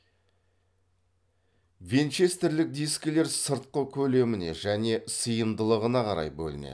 винчестерлік дискілер сыртқы көлеміне және сыйымдылығына қарай бөлінеді